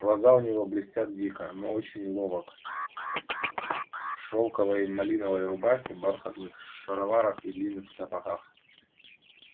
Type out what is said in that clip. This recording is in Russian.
глаза у него блестят дико он очень ловок в шелковой малиновой рубахе бархатных шароварах и длинных сапогах